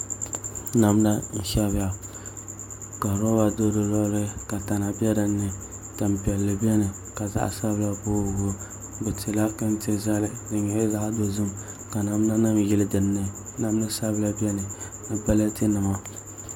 Namda n shɛbiya ka roba do di luɣuli ka tana bɛ dinni tani piɛlli biɛni ka zaɣ sabila booi booi bi tila tanti zali di nyɛla zaɣ dozim ka namda nim yili dinni namda sabila biɛni ni balati nima